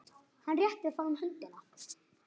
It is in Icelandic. Hann réttir fram hönd.